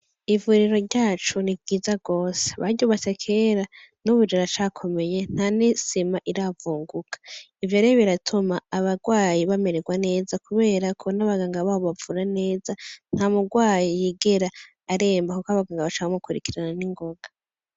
Ivuriro ryacu ni ryiza gose. Baryubatse kera, n'ubu riracakomeye, nta n'isima iravunguka. Ibi rero biratuma abagwayi bamererwa neza kubera ko n'abaganga babo babavura neza. Nta mugwayi yigera aremba kuko abaganga baca bamukurikirana n'ingoga.